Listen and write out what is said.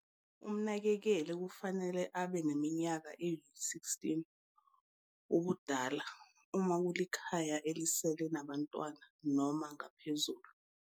Umnakekeli kufanele abe neminyaka eyi-16 ubudala, uma kulikhaya elisele nabantwana, noma ngaphezulu.